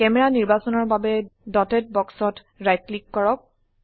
camera নিৰ্বাচনৰ বাবে dotted বাক্সত ৰাইট ক্লিক কৰক